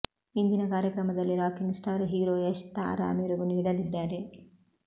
ಇಂದಿನ ಕಾರ್ಯಕ್ರಮದಲ್ಲಿ rocking star hero Yash ತಾರಾ ಮೆರಗು ನೀಡಲಿದ್ದಾರೆ